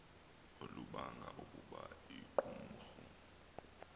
olubanga ukuba iqumrhu